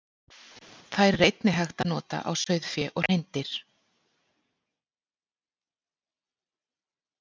Þær er einnig hægt að nota á sauðfé og hreindýr.